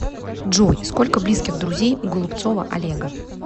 джой сколько близких друзей у голубцова олега